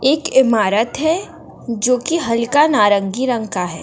एक ईमारत है जो कि हल्का नारंगी रंग का है।